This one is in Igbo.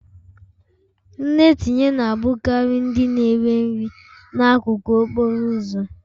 Nne tinye na-abụkarị ndị na-ere nri n'akụkụ okporo ụzọ